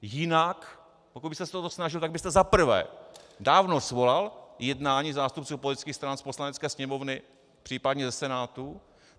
Jinak pokud byste se o to snažil, tak byste zaprvé dávno svolal jednání zástupců politických stran z Poslanecké sněmovny, případně ze Senátu.